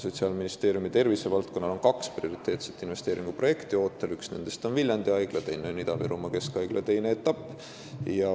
Sotsiaalministeeriumi tervisevaldkonnas on ootel kaks prioriteetset investeeringuprojekti: üks on Viljandi Haigla ja teine Ida-Viru Keskhaigla teine etapp.